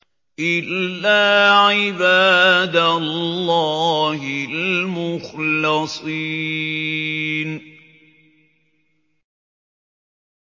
إِلَّا عِبَادَ اللَّهِ الْمُخْلَصِينَ